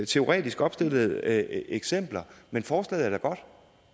teoretisk opstillede eksempler men forslaget er da godt